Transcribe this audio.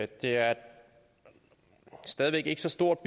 det er stadig væk ikke så stort